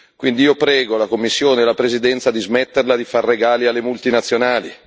Quindi io prego la Commissione e la Presidenza di smetterla di fare regali alle multinazionali